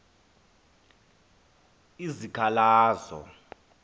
izikhalazo